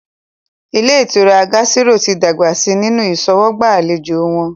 Ilé ìtura Gásírò tí dàgbà si nínu ìṣọwọ́gbà àlejò wọn